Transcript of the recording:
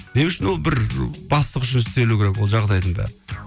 не үшін ол бір бастық үшін істелуі керек ол жағдайдың бәрі